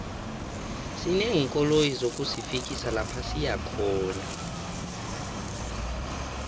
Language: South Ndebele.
sineenkoloyi zokusifikisa lapha siyakhona